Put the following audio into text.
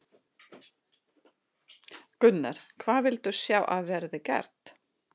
Gunnar: Hvað viltu sjá að verði gert?